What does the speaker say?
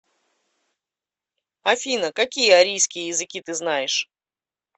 афина какие арийские языки ты знаешь